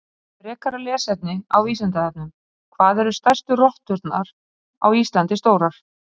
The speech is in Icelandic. Frekara lesefni á Vísindavefnum: Hvað eru stærstu rotturnar á Íslandi stórar?